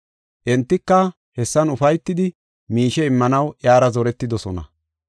Entika hessan ufaytidi miishe immanaw iyara zoretidosona.